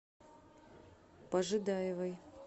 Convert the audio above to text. пожидаевой